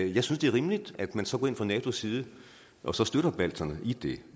jeg synes det er rimeligt at man så går ind fra natos side og så støtter balterne i det